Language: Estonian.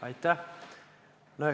Aitäh!